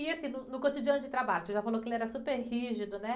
E assim, no, no cotidiano de trabalho, você já falou que ele era super rígido, né?